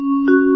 sound byte